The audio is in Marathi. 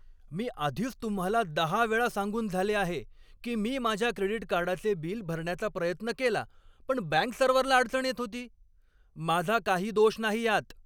मी आधीच तुम्हाला दहा वेळा सांगून झाले आहे की मी माझ्या क्रेडिट कार्डाचे बिल भरण्याचा प्रयत्न केला पण बँक सर्व्हरला अडचण येत होती. माझा काही दोष नाही यात!